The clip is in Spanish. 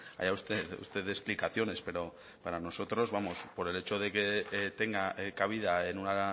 allá usted usted dé explicaciones pero para nosotros vamos por el hecho de que tenga cabida en una